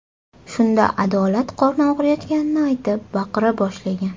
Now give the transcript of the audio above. Shunda Adolat qorni og‘riyotganini aytib, baqira boshlagan.